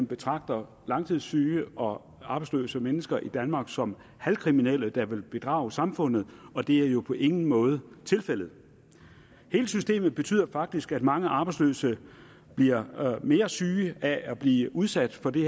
betragter langtidssyge og arbejdsløse mennesker i danmark som halvkriminelle der vil bedrage samfundet og det er jo på ingen måde tilfældet hele systemet betyder faktisk at mange af de arbejdsløse bliver mere syge af at de bliver udsat for det